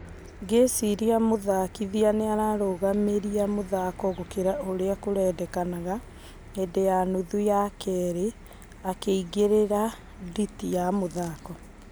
"Ngĩciria mũthakithia nĩararũgamiria mũthako gũkira ũrĩa kũrendekanaga hĩndĩ ya nuthu ya kerĩ , akĩingĩrĩra nditi wa mũthako.